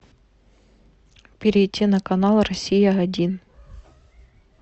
перейти на канал россия один